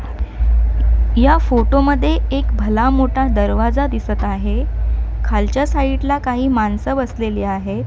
या फोटो मध्ये एक भला मोठा दरवाजा दिसत आहे खालच्या साईड ला काही माणसं बसलेली आहेत.